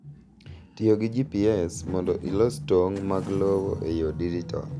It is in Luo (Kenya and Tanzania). Tiyo gi GPS mondo ilos tong’ mag lowo e yor dijital.